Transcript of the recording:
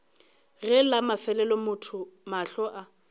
ge la mafelelo mahlo a